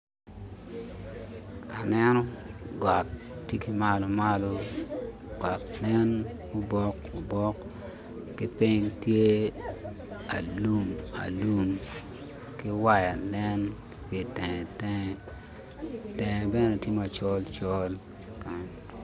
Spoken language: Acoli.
Aneno got tye ki malo malo got nen mubok obok ki piny tye alum alum ki waya nen ki itenge tenge, tenge bene tye macol col ki kany.